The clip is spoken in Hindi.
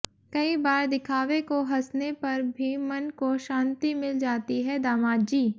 कई बार दिखावे को हंसने पर भी मन को शांति मिल जाती है दामाद जी